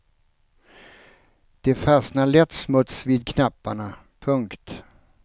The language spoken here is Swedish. Det fastnar lätt smuts vid knapparna. punkt